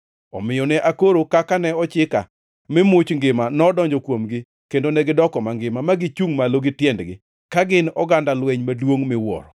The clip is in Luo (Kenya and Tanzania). Omiyo ne akoro kaka ne ochika, mi much ngima nodonjo kuomgi; kendo negidoko mangima; ma gichungʼ malo gi tiendgi, ka gin oganda lweny maduongʼ miwuoro!